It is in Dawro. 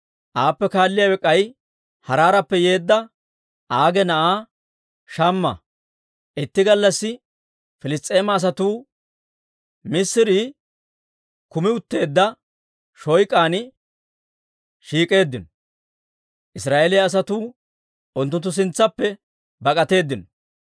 Aappe kaalliyaawe k'ay Haaraarappe yeedda Age na'aa Shamma. Itti gallassi Piliss's'eema asatuu missirii kumi utteedda shoyk'an shiik'eeddino; Israa'eeliyaa asatuu unttunttu sintsaappe bak'atteedino.